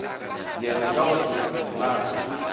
yena ka go se lalwe